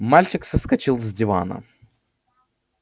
мальчик соскочил с дивана